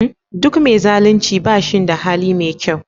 Duk me zalunci bashin da hali me kyau